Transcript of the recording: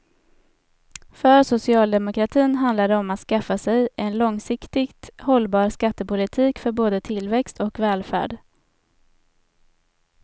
För socialdemokratin handlar det om att skaffa sig en långsiktigt hållbar skattepolitik för både tillväxt och välfärd.